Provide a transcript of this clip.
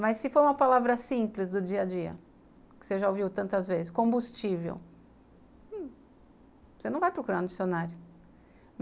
Mas se for uma palavra simples do dia a dia, que você já ouviu tantas vezes, combustível, você não vai procurar no dicionário.